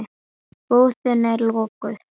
Jón: Hvað ertu að gera?